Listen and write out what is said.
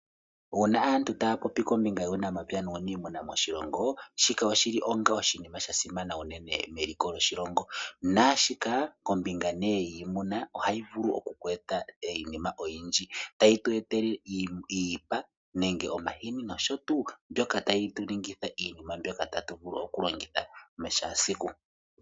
Uuna aantu taya popi kombinga yuunamapya nuuniimuna moshilongo shika oshili onga oshinima sha simana unene meliko lyoshilongo. Naashika kombinga nee yiimuna ohayi vulu oku ku etela iinima oyindji. Tayi tu etele iipa nenge omahini nosho tuu mbyoka tayi tu ningitha iinima mbyoka tatu vulu oku longitha moshaasiku.